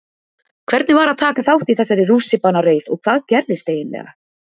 Hvernig var að taka þátt í þessari rússíbanareið og hvað gerðist eiginlega?